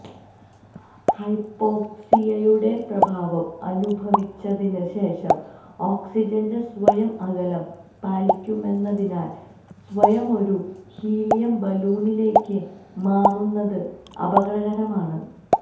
ഹൈപോക്സിയയുടെ പ്രഭാവം അനുഭവിച്ചതിന് ശേഷം ഓക്സിജന്റെ സ്വയം അകലം പാലിക്കുമെന്നതിനാൽ സ്വയം ഒരു ഹീലിയം ബലൂണിലേക്ക് മാറുന്നത് അപകടകരമാണ്